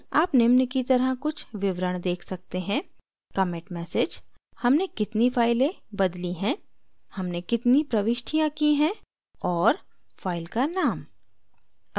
आप निम्न की तरह कुछ विवरण देख सकते हैं: commit message हमने कितनी फाइलें बदली हैं हमने कितनी प्रविष्टियाँ की हैं और फाइल का नाम